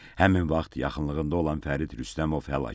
Həmin vaxt yaxınlığında olan Fərid Rüstəmov həlak olub.